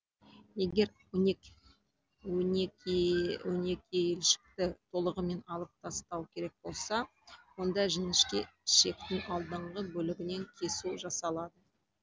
егер онекіелішекті толығымен алып тастау керек болса онда жінішке ішектің алдыңғы бөлігінен кесу жасалады